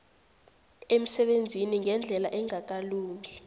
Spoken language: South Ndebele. emsebenzini ngendlela engakalungi